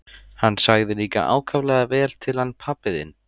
Hann sagði líka ákaflega vel til hann pabbi þinn.